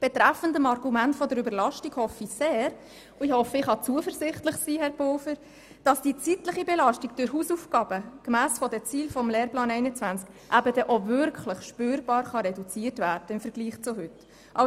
Betreffend das Argument der Überlastung hoffe ich sehr, dass die zeitliche Belastung durch Hausaufgaben gemäss den Zielen des Lehrplans 21 auch wirklich spürbar reduziert werden kann im Vergleich zu heute.